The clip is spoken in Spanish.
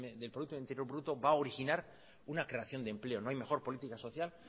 del producto interior bruto va originar una creación de empleo no hay mejor política social